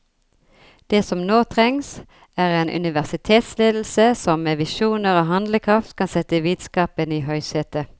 Det som nå trengs, er en universitetsledelse som med visjoner og handlekraft kan sette vitenskapen i høysetet.